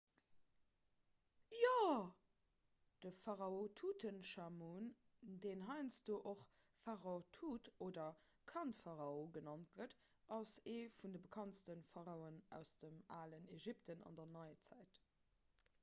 jo de pharao tutenchamun deen heiansdo och pharao tut oder kandpharao genannt gëtt ass ee vun de bekanntste pharaoen aus dem alen ägypten an der neizäit